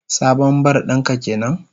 Sabon bar din ka kenan?